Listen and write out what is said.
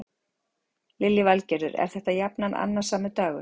Lillý Valgerður: Er þetta jafnan annasamur dagur?